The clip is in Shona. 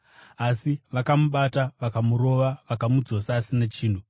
Asi vakamubata, vakamurova vakamudzosa asina chinhu.